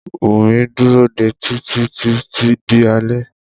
Wùmí dúró dé Títí títí di alé.